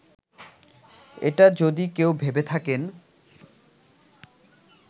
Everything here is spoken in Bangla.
এটা যদি কেউ ভেবে থাকেন